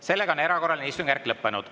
Sellega on erakorraline istungjärk lõppenud.